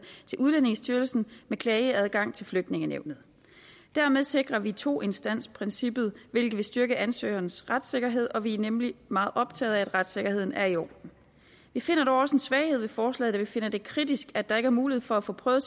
til udlændingestyrelsen med klageadgang til flygtningenævnet dermed sikrer vi toinstansprincippet hvilket vil styrke ansøgerens retssikkerhed og vi er nemlig meget optaget af at retssikkerheden er i orden vi finder dog også en svaghed ved forslaget da vi finder det kritisk at der ikke er mulighed for at få prøvet